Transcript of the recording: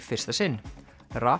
fyrsta sinn